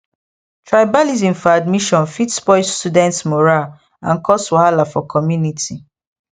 tribalism for admission fit spoil students morale and cause wahala for community